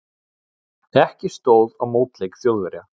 Ekki stóð á mótleik Þjóðverja.